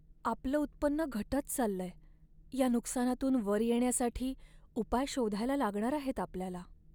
आपलं उत्पन्न घटत चाललंय! या नुकसानातून वर येण्यासाठी उपाय शोधायला लागणार आहेत आपल्याला.